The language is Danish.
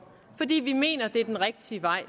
fordi vi mener at det er den rigtige vej